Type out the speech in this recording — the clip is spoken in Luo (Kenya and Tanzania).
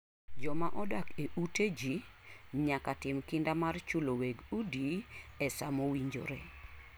Joma odak e ute ji nyaka tim kinda mar chulo weg udi e sa mowinjore.